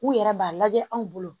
U yɛrɛ b'a lajɛ anw bolo